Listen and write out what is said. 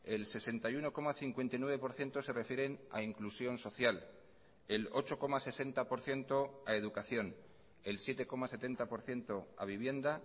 el sesenta y uno coma cincuenta y nueve por ciento se refieren a inclusión social el ocho coma sesenta por ciento a educación el siete coma setenta por ciento a vivienda